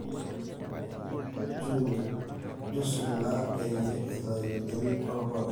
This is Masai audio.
nchushungaa peyie eitayu enterit oo irpala